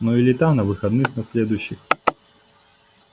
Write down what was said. ну или там на выходных на следующих